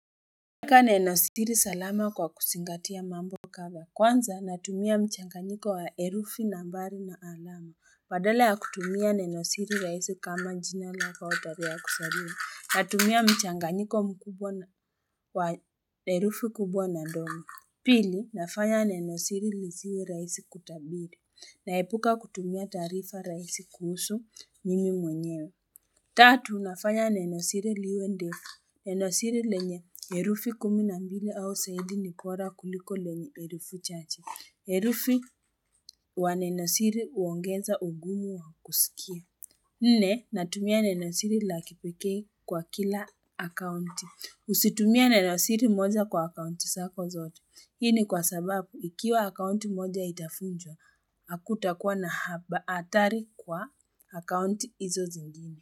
Nenosiri salama kwa kuzingatia mambo kadhaa, kwanza natumia mchanganyiko wa herufi nambari na alama, badala ya kutumia nenosiri raisi kama jina lako, tarehe ya kuzaliwa, natumia mchanganyiko mkubwa wa herufi kubwa na ndogo, pili nafanya nenosiri lisiwe rahisi kutabiri, naepuka kutumia taarifa rahisi kuhusu mimi mwenyewe Tatu nafanya nenosiri liwe ndefu, nenosiri lenye herufi kumi na mbili au zaidi ni bora kuliko lenye herufi chache. Herufi wa nenosiri huongeza ugumu wa kusikia. Nne natumia nenosiri la kipekee kwa kila akaunti. Usitumiae nenosiri moja kwa akaunti zako zote. Hii ni kwa sababu ikiwa akaunti moja itavunjwa, hakutakuwa na hatari kwa akaunti hizo zingine.